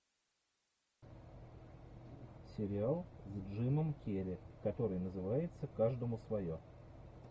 сериал с джимом керри который называется каждому свое